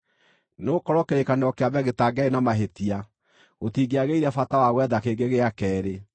Nĩgũkorwo kĩrĩkanĩro kĩa mbere gĩtangĩarĩ na mahĩtia, gũtingĩagĩire bata wa gwetha kĩngĩ gĩa keerĩ.